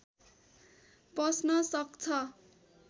पस्न सक्छ